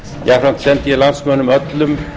jafnframt sendi ég landsmönnum öllum